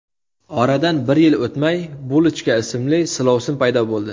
Oradan bir yil o‘tmay Bulochka ismli silovsin paydo bo‘ldi.